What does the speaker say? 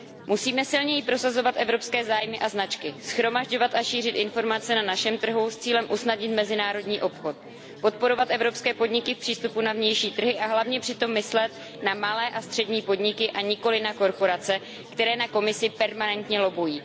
Musíme silněji prosazovat evropské zájmy a značky, shromažďovat a šířit informace na našem trhu s cílem usnadnit mezinárodní obchod, podporovat evropské podniky v přístupu na vnější trhy a hlavně přitom myslet na malé a střední podniky, a nikoliv na korporace, které na Komisi permanentně lobbují.